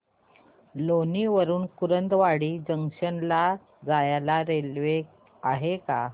लोणी वरून कुर्डुवाडी जंक्शन ला जायला रेल्वे आहे का